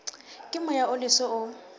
ke moya o leswe o